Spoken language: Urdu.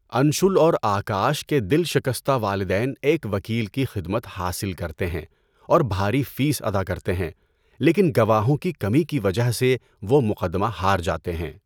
انشول اور آکاش کے دل شکستہ والدین ایک وکیل کی خدمات حاصل کرتے ہیں اور بھاری فیس ادا کرتے ہیں لیکن گواہوں کی کمی کی وجہ سے وہ مقدمہ ہار جاتے ہیں۔